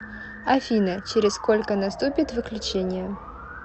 афина через сколько наступит выключение